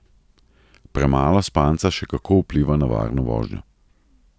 Premalo spanca še kako vpliva na varno vožnjo.